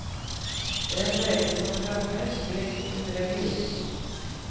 Det är en berättelse om lögner, svek och bedrägeri.